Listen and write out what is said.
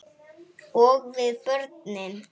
Og við börnin.